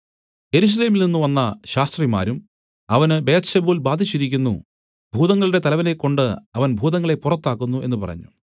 യെരൂശലേമിൽ നിന്നു വന്ന ശാസ്ത്രിമാരും അവന് ബെയെത്സെബൂൽ ബാധിച്ചിരിക്കുന്നു ഭൂതങ്ങളുടെ തലവനെകൊണ്ട് അവൻ ഭൂതങ്ങളെ പുറത്താക്കുന്നു എന്നു പറഞ്ഞു